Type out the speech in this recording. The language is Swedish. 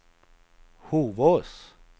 Hovås